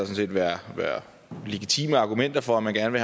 set været legitime argumenter for at man gerne